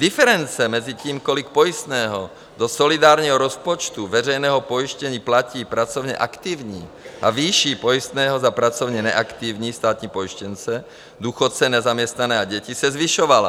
Diference mezi tím, kolik pojistného do solidárního rozpočtu veřejného pojištění platí pracovně aktivní, a výší pojistného za pracovně neaktivní státní pojištěnce, důchodce, nezaměstnané a děti, se zvyšovala.